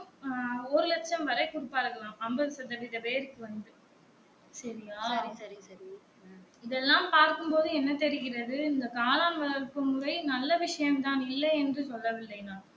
ஆஹ் ஒரு லட்சம் வரை குடுப்பர்கலாம் ஐம்பது சதவித பெருக்கு வந்து சரியா இத எல்லாம் பார்க்கும் போது என்ன தெரிகிறது இந்த காளான் வளர்ப்பு முறை நல்ல விஷயம் தான் இல்லையென்று சொல்லவில்லை நான்